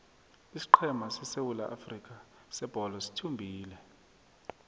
isiqhema sesewula afrika sebholo sithumbile